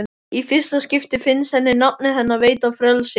Í fyrsta skipti finnst henni nafnið hennar veita frelsi.